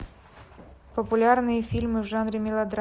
популярные фильмы в жанре мелодрама